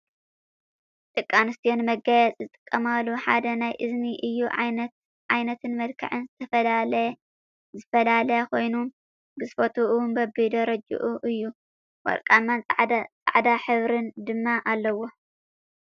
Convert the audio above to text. ደቂ ኣንስትዩ ንመጋየፂ ዝጥቀማሎ ሓደ ናይ እዝኒ እዩ ዓይነትን መልክዕን ዝፈላለ ኮይኑ ግዝፈቱ እውን በቢደረጅኡ እዩ ። ወርቃማን ፃዕዳን ሕብሪ ድማ ኣለዎ።